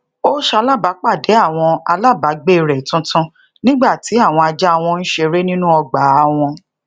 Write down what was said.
ó salabapàdé àwọn alábagbe re tuntun nígbà tí àwọn ajá wọn ń sere nínú ọgbàa won